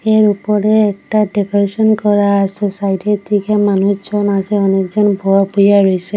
এর উপরে একটা ডেকারেশন করা আসে সাইডের দিকে মানুষজন আসে অনেক জন ব বইয়া রইসে।